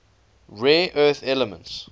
rare earth elements